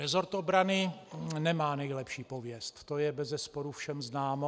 Resort obrany nemá nejlepší pověst, to je bezesporu všem známo.